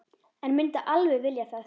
En myndi alveg vilja það.